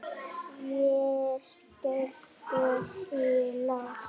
Ég skellti í lás.